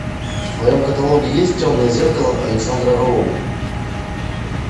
в твоем каталоге есть темное зеркало александра роу